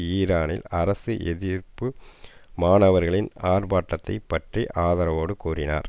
ஈரானில் அரசு எதிர்ப்பு மாணவர்களின் ஆர்ப்பாட்டத்தைப் பற்றி ஆதரவோடு கூறினார்